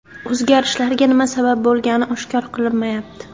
O‘zgarishlarga nima sabab bo‘lgani oshkor qilinmayapti.